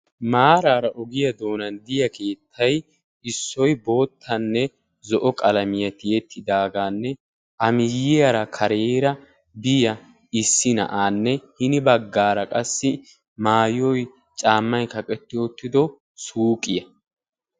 Maaraara ogiyaa doonan diya keettay issoy boottanne zo"o qalamiyaa tiyettidaagaanne A miyiyaara kareera biyaa issi na"aanne hini baggaara qassi maayoy caammay kaqetti uttido suuqiyaa.